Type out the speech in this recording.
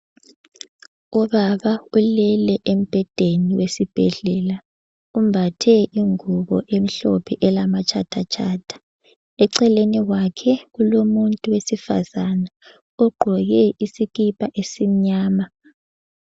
Ubaba ulele embhedeni wesibhedlela. Umbathe ingubo emhlophe elama tshatha tshatha eceleni kwake kulomuntu wesifazana ogqoke isikipa esimnyama.